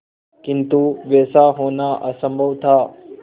किंतु वैसा होना असंभव था